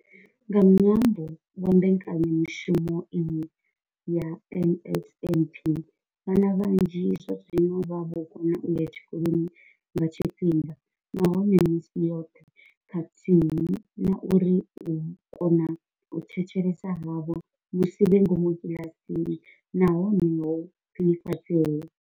Nga ṅwambo wa mbekanyamushumo iyi ya NSNP, vhana vhanzhi zwazwino vha vho kona u ya tshikoloni nga tshifhinga nahone misi yoṱhe khathihi na uri u kona u thetshelesa havho musi vhe ngomu kiḽasini na hone ho khwinifhadzea.